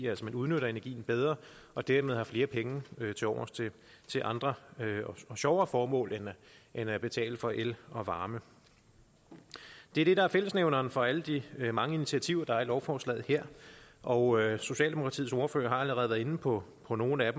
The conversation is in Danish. at man udnytter energien bedre og dermed har flere penge tilovers til andre og sjovere formål end at betale for el og varme det er det der er fællesnævneren for alle de mange initiativer der er i lovforslaget her og socialdemokratiets ordfører har allerede været inde på på nogle af